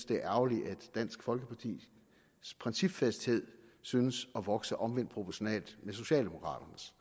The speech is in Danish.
det er ærgerligt at dansk folkepartis principfasthed synes at vokse omvendt proportionalt med socialdemokraternes